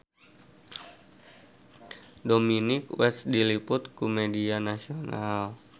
Dominic West diliput ku media nasional